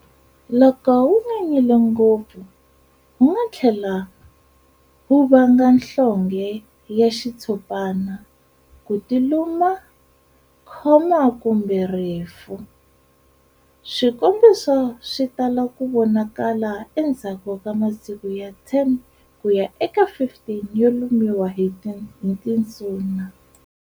Loko wunyanyile ngopfu, wunga thlela wu vanga nhlonge ya xitshopana, kutiluma, khoma kumbe rifu. Swikombiso swi tala ku vonakala endzhaku ka masiku ya 10 kuya eka 15 yo lumiwa hi tinsuna.